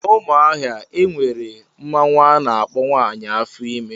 N' Umuahia enwere mmanwụ ana akpọ " nwaanyị afo ime"